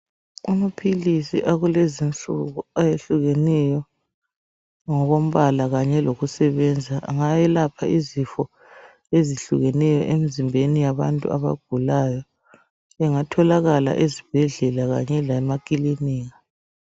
Amaphilisi akulezi insuku ayehlukeneyo ngokombala kanye lokusebenza ngayelapha izifo ezihlukeneyo emzimbeni yabantu abagulayo engatholakala ezibhedlela kanye lemakilinika.